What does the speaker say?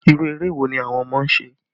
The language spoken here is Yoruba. Irú eré wo ni àwọn ọmọ ń ṣe?